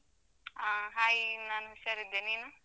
ಆ hai ನಾನ್ ಹುಷಾರ್ ಇದ್ದೇ, ನೀನು?